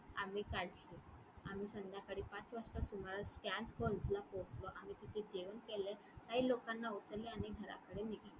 आम्ही . आम्ही संध्याकाळी पाच वाजता सुमारास ला पोहचलो. आम्ही तिथे जेवण केले. काही लोकांना उतरवले आणि घराकडे निघालो.